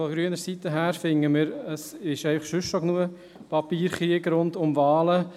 Von grüner Seite finden wir, es gebe schon sonst genug Papierkrieg rund um Wahlen.